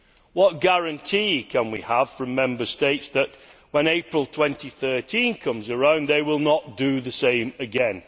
What guarantee can we have from Member States that when April 2013 comes around they will not do the same again?